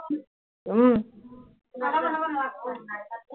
উম